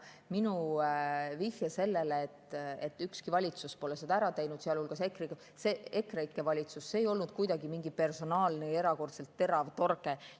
Minu vihje sellele, et ükski valitsus pole seda ära teinud, sealhulgas EKREIKE valitsus, ei olnud kuidagi mingi personaalne ja erakordselt terav torge.